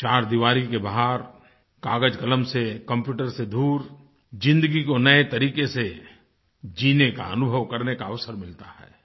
चार दीवारी के बाहर कागज़कलम से कंप्यूटर से दूर ज़िन्दगी को नए तरीके से जीने का अनुभव करने का अवसर मिलता है